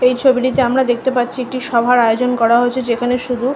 এই ছবিটিতে আমরা দেখতে পাচ্ছি একটি সভার আয়োজন করা হয়েছে যেখানে শুধু--